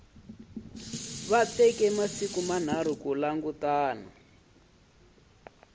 teka masiku manharhu ku langutana